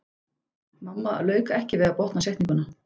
Mamma lauk ekki við að botna setninguna.